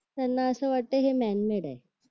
त्यांना असं वाटतंय हे मॅनमेड आहे